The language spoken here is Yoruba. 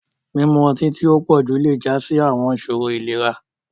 Mimu ọti-lile ti o pọju le ja si awọn iṣoro ilera.